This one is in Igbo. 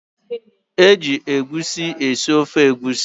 E ji egusi esi ofe egusi.